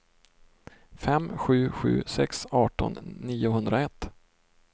fem sju sju sex arton niohundraett